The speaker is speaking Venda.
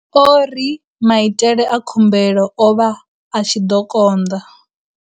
O ri, Maitele a khumbelo o vha a tshi konḓa.